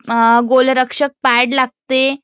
अं गोलरक्षक पॅड लागते